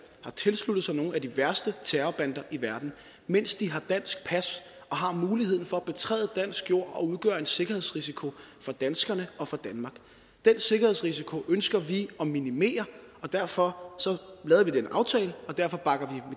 har tilsluttet sig nogle af de værste terrorbander i verden mens de har dansk pas og har muligheden for at betræde dansk jord og udgøre en sikkerhedsrisiko for danskerne og for danmark den sikkerhedsrisiko ønsker vi at minimere og derfor lavede vi den aftale og derfor bakker